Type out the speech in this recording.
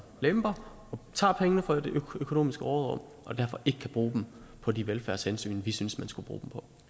lemper og tager pengene fra det økonomiske råderum og derfor ikke kan bruge dem på de velfærdshensyn vi synes man skulle bruge